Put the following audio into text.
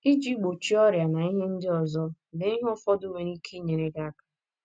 Iji gbochie ọrịa na ihe ndị ọzọ, lee ihe ụfọdụ nwere ike inyere gị aka.